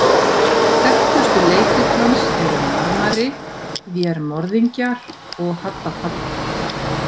Þekktustu leikrit hans eru „Marmari“, „Vér morðingjar“ og „Hadda Padda“.